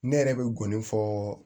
Ne yɛrɛ bɛ gɔni fɔ